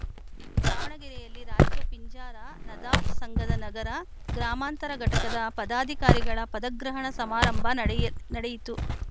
ದಾವಣಗೆರೆಯಲ್ಲಿ ರಾಜ್ಯ ಪಿಂಜಾರ ನದಾಫ್‌ ಸಂಘದ ನಗರ ಗ್ರಾಮಾಂತರ ಘಟಕದ ಪದಾಧಿಕಾರಿಗಳ ಪದಗ್ರಹಣ ಸಮಾರಂಭ ನಡೆಯ ನಡೆಯಿತು